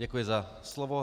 Děkuji za slovo.